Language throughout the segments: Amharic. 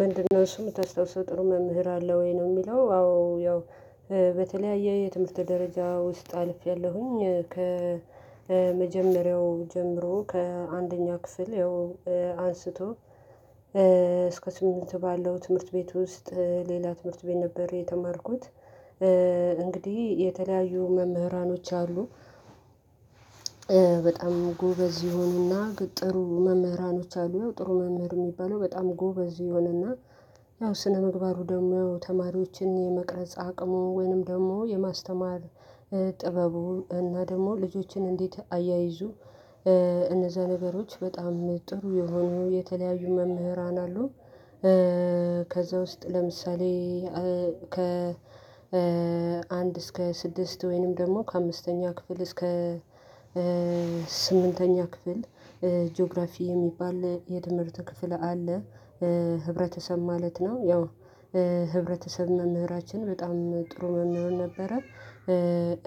ምንድነው? እሱ የምታስታውሰው ጥሩ መምህር አለ ወይ ነው? የሚለው አዎ ያው በተለያየ የትምህርት ደረጃ ውስጥ አልፌያለሁኝ ከመጀመሪያው ጀምሮ ከአንደኛ ክፍል ያው አንስቶ እስከ ስምንት ባለው ትምህርት ቤት ውስጥ ሌላ ትምህርት ቤት ነበር የተማርኩት። እንግዲህ የተለያዩ መምህራኖች አሉ። በጣም ጎበዝ የሆኑና ጥሩ መምህራኖች አሉ ጥሩ መምህር ሚባለው በጣም ጎበዝ የሆነና እና ያው ስነምግባሩ ደግሞ ተማሪዎችን የመቅረጽ አቅሙ ወይንም ደግሞ የማስተማር ጥበቡ እና ደግሞ ልጆችን እንዴት አያይዙ እነዛ ነገሮች በጣም ጥሩ የሆነው የተለያዩ መምህራን አሉ። ከዛ ውስጥ ለምሳሌ ከ አንድ እስከ ስድስት ወይንም ደግሞ ከአምስተኛ ክፍል እስከ ስምንተኛ ክፍል ጂኦግራፊ የሚባል የትምርት ክፍል አለ። ህብረተሰብ ማለት ነው ያው ህብረተሰብ መምህራችን በጣም ጥሩ መምህር ነበረ።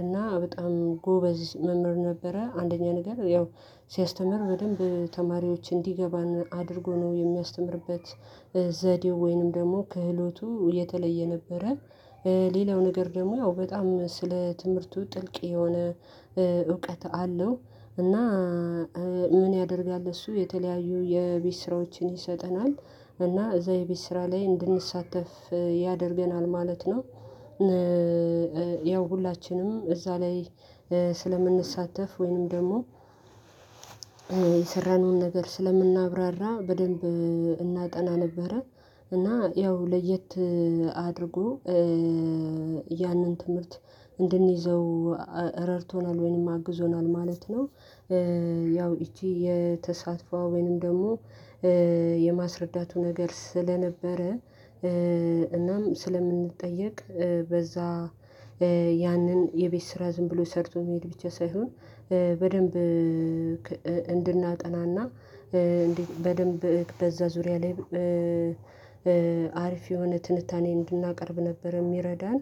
እና በጣም ጎበዝ መምህር ነበረ አንደኛ ነገር ያው ሲያስተምር በደንብ ተማሪዎች እንዲገባን አድርጎ ነው የሚያስተምርበት ዘዴው ወይንም ደግሞ ክህሎቱ የተለየ ነበረ። ሌላው ነገር ደግሞ ያው በጣም ስለ ትምህርቱ ጥልቅ የሆነ እውቀት አለው። እና ምን ያደርጋል እሱ የተለያዩ የቤት ስራዎችን ይሰጠናል እና እዛ የቤት ስራ ላይ እንድንሳተፍ ያደርገናል ማለት ነው። ያው ሁላችንም እዛ ላይ ስለምንሳተፍ ወይንም ደግሞ የሰራነውን ነገር ስለምናብራራ በደንብ እናጠና ነበረ እና ያው ለየት አድርጎ ያንን ትምህርት እንድንይዘው ረድቶናል ወይንም አግዞናል ማለት ነው። ያው እቺ የተሳተፎ ወይንም ደግሞ የማስረዳቱ ነገር ስለነበረ እናም ስለምንጠየቅ። በዛ ያንን የቤት ስራ ዝም ብሎ ሰርቶ መሄድ ብቻ ሳይሆን በደንብ እንድናጠናና እንዴት በደንብ በዛ ዙሪያ ላይ አሪፍ የሆነ ትንታኔ እንድናቀርብ ነበር የሚረዳን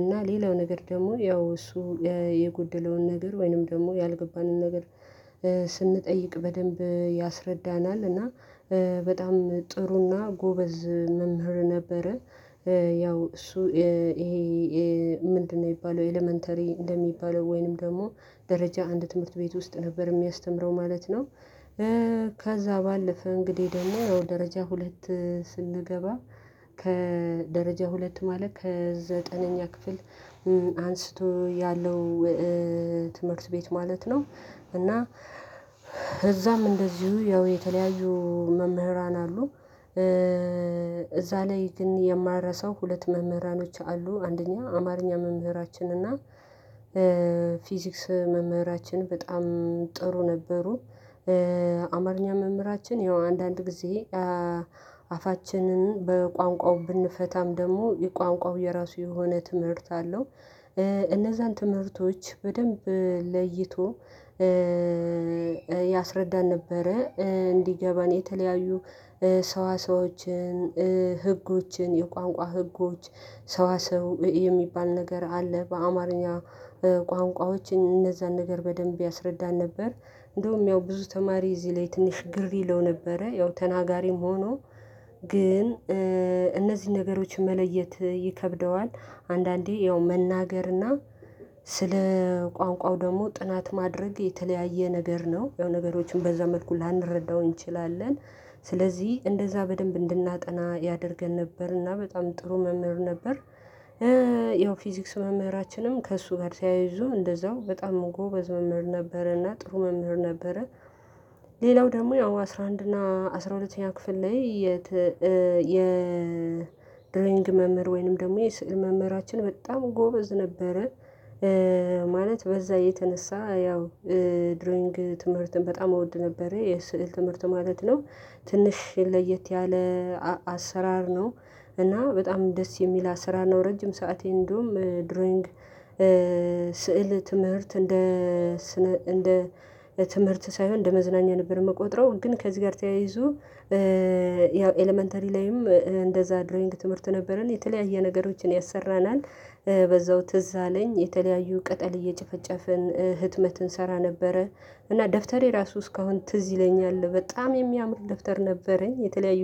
እና ሌላው ነገር ደግሞ ያው እሱ የጎደለውን ነገር ወይንም ደግሞ ያልገባንን ነገር ስንጠይቅ በደንብ ያስረዳናል እና በጣም ጥሩና ጎበዝ መምህር ነበረ። ያው እሱ ይሄ ምንድነው ሚባለው ኤለመንተሪ እንደሚባለው ወይንም ደግሞ ደረጃ አንድ ትምህርት ቤት ውስጥ ነበር የሚያስተምረው ማለት ነው። ከዛ ባለፈ እንግዲህ ደግሞ ደረጃ ሁለት ስንገባ ከደረጃ ሁለት ማለት ከዘጠነኛ ክፍል አንስቶ ያለው ትምህርት ቤት ማለት ነው። እና እዛም እንደዚሁ ያው የተለያዩ መምህራን አሉ። እዛ ላይ ግን የማረሳው ሁለት መምህራኖች አሉ አንደኛ አማርኛ መምህራችን እና ፊዚክስ መምህራችን በጣም ጥሩ ነበሩ። አማርኛ መምህራችን ያው አንዳንድ ጊዜ አፋችንን በቋንቋው ብንፈታም ደግሞ የቋንቋው የራሱ የሆነ ትምህርት አለው እነዛን ትምህርቶች በደንብ ለይቶ ያስረዳን ነበረ። እንዲገባን የተለያዩ ሰዋሰዎችን ህጎችን የቋንቋ ህጎች ሰዋሰው የሚባል ነገር አለ በአማርኛ ቋንቋዎች እነዛን ነገር በደንብ ያስረዳን ነበር። እንደውም ያው ብዙ ተማሪ እዚህ ላይ ትንሽ ግር ይለው ነበረ ያው ተናጋሪም ሆኖ ግን እነዚህን ነገሮችን መለየት ይከብደዋል። አንዳንዴ ያው መናገርና ስለ ቋንቋው ደግሞ ጥናት ማድረግ የተለያየ ነገር ነው የሆነ ነገሮችን በዛ መልኩ ላንረዳው እንችላለን። ስለዚህ እንደዛ በደንብ እንድናጠና ያደርገን ነበር እና በጣም ጥሩ መምህር ነበር። ያው ፊዚክስ መምህራችንም ከእሱ ጋር ተያይዞ እንደዛው በጣም ጎበዝ መምህር ነበረና ጥሩ መምህር ነበረ። ሌላው ደግሞ ያው አስራ አንድ እና አስራ ሁለተኛ ክፍል ላይ የድሮዊንግ መምህር ወይንም ደግሞ የስዕል መምህራችን በጣም ጎበዝ ነበረ። ማለት በዛ የተነሳ ያው ድረዊንግ ትምህርትን በጣም እወድ ነበረ የስዕል ትምህርት ማለት ነው። ትንሽ ለየት ያለ አሰራር ነው እና በጣም ደስ የሚል አሰራር ነው። ረጅም ሰዓቴ እንደውም ድሮይንግ ስዕል ትምህርት እንደ እንደ ትምህርት ሳይሆን እንደ መዝናኛ ነበር የምቆጥረው ግን ከዚህ ጋር ተያይዞ ያው ኤለመንተሪ ላይም እንደዛ ድሮይንግ ትምህርት ነበረን የተለያየ ነገሮችን ያሰራናል። በዛው ትዝ አለኝ የተለያዩ ቅጠል እየጨፈጨፍን ህትመትን እንሰራ ነበረ እና ደፍተሬ ራሱ እስካሁን ትዝ ይለኛል በጣም የሚያምር ደፍተር ነበረኝ። የተለያዩ